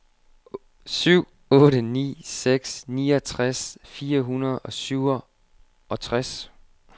syv otte ni seks niogtres fire hundrede og syvogtres